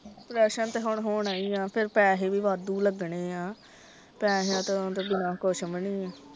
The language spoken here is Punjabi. ਪਰੇਸ਼ਨ ਤੇ ਹੁਣ ਹੋਣਾ ਹੀ ਆ ਤੇ ਫੇਰ ਪੈਸੇ ਵੀ ਵਾਦੁ ਲਗਣੇ ਆ ਪੈਸਿਆਂ ਤੋਂ ਤੇ ਬਿਨਾ ਕੁੱਛ ਵੀ ਨਹੀ ਆ।